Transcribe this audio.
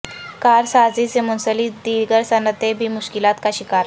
کار سازی سے منسلک دیگر صنعتیں بھی مشکلات کا شکار